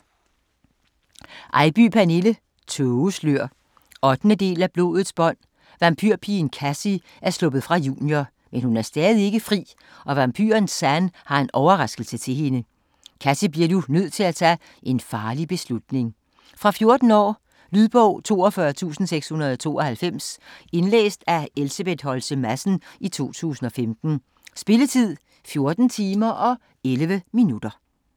Eybye, Pernille: Tågeslør 8. del af Blodets bånd. Vampyrpigen, Kassie er sluppet fra Junior, men hun er stadig ikke fri, og vampyren Zan har en overraskelse til hende. Kassie bliver nu nødt til at tage en farlig beslutning. Fra 14 år. Lydbog 42692 Indlæst af Elsebeth Holtze Madsen, 2015. Spilletid: 14 timer, 11 minutter.